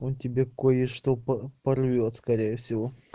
он тебе кое-что порвёт скорее всего